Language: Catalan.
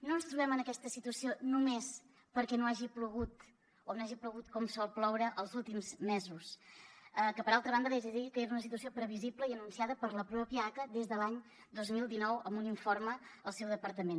no ens trobem en aquesta situació només perquè no hagi plogut o no hagi plogut com sol ploure els últims mesos que per altra banda li haig de dir que era una situació previsible i anunciada per la pròpia aca des de l’any dos mil dinou amb un informe al seu departament